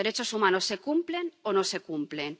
Los derechos humanos se cumplen o no se cumplen.